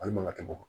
Ali maka bɔ